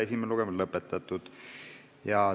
Esimene lugemine on lõpetatud.